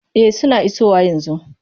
E, suna isowa yanzu.